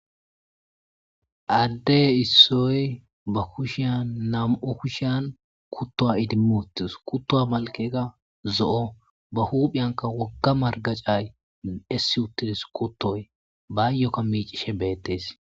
Adde issoy ba kushiyan nam7u kushiyan kuttowa idim utis kuttoy malkey qassi zo7o ba huphiyanka wogga margacay essi uttidis kuttoy baayyokka miicishe beettees.